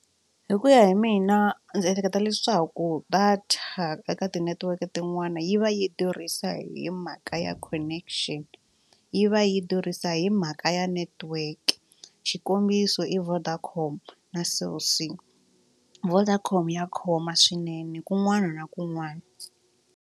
Hi ku ya hi mina ndzi ehleketa leswaku data eka ti-network tin'wana yi va yi durhisa hi mhaka ya connection yi va yi durhisa hi mhaka ya network xikombiso i Vodacom na cell c. Vodacom ya khoma swinene kun'wana na kun'wana.